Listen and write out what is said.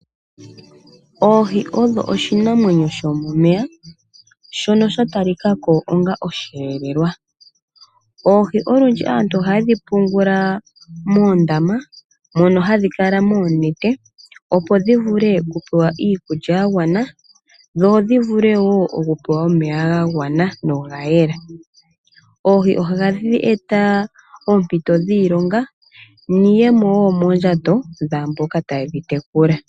Oohi odho oshinamwenyo shomomey,a shono sha talika ko onga osheelelwa. Oohi olundji aantu ohaye dhi pungula moondama, mono hadhi kala moonete, opo dhi vule okupewa iikulya ya gwana, dho dhi vule wo okupewa omeya ga gwana no ga yela. Oohi ohadhi eta oompito dhiilonga, niiyemo wo moondjato dhaamboka taye dhi tekula.